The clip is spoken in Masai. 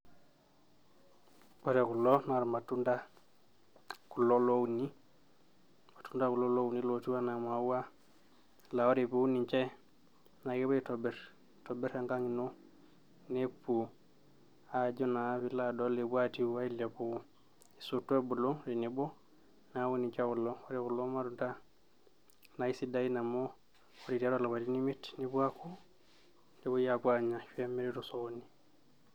ore kulo naa irmatunda kulo louni, irmatunda kulo louni lotiu enaa imaua laa ore piun ninche naa kepuo aitobirr, aitobirr enkang ino nepuo aajo naa piilo adol epuo atiu ailepu esoto ebulu tenebo neeku ninche kulo, ore kulo matunda naa isidain amu ore tiatua ilapaitin imiet nepuo aaku, nepuoi apuo aanya ashu emiri tosokoni.